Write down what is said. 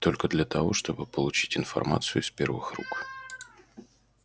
только для того чтобы получить информацию из первых рук